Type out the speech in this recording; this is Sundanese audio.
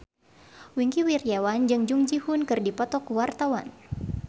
Wingky Wiryawan jeung Jung Ji Hoon keur dipoto ku wartawan